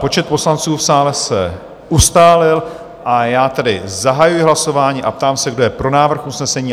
Počet poslanců v sále se ustálil, a já tedy zahajuji hlasování a ptám se, kdo je pro návrh usnesení?